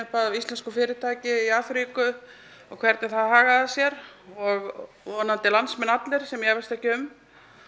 af íslensku fyrirtæki í Afríku og hvernig það hagaði sér og vonandi landsmenn allir sem ég efast ekki um